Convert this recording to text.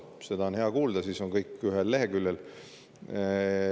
Seda on hea kuulda, siis on kõik ühel leheküljel.